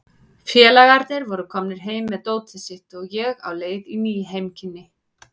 Félagarnir voru komnir heim með dótið sitt og ég á leið í ný heimkynni.